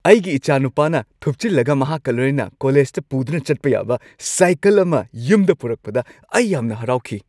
ꯑꯩꯒꯤ ꯏꯆꯥꯅꯨꯄꯥꯅ ꯊꯨꯞꯆꯤꯜꯂꯒ ꯃꯍꯥꯛꯀ ꯂꯣꯏꯅꯅ ꯀꯣꯂꯦꯖꯇ ꯄꯨꯗꯨꯅ ꯆꯠꯄ ꯌꯥꯕ ꯁꯥꯏꯀꯜ ꯑꯃ ꯌꯨꯝꯗ ꯄꯨꯔꯛꯄꯗ ꯑꯩ ꯌꯥꯝꯅ ꯍꯔꯥꯎꯈꯤ ꯫